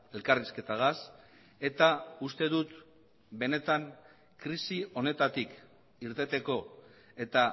elkarrizketagaz eta uste dut benetan krisi honetatik irteteko eta